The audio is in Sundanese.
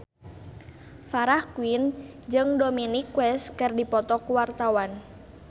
Farah Quinn jeung Dominic West keur dipoto ku wartawan